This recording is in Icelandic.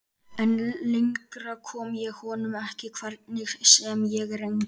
En lengra kom ég honum ekki, hvernig sem ég reyndi.